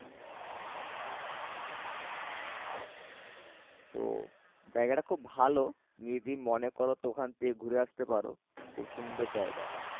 তো জায়গাটা খুব ভালো তুমি যদি মনে কর তো ওখান থেকে ঘুরে আসতে পারো খুব সুন্দর জায়গাটা